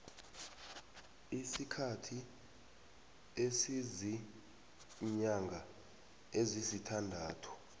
isikhathi esiziinyanga ezisithandathu